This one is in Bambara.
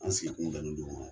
An sigikun bɛnlen do o ma.